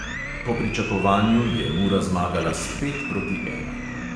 Po pričakovanju je mura zmagala s pet proti ena.